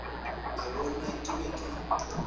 a bona ke be ke